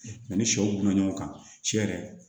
Ani sɛw bila ɲɔgɔn kan cɛ yɛrɛ